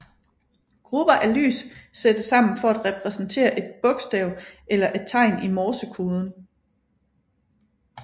Grupper af lys sættes sammen for at repræsentere et bokstav eller et tegn i morsekoden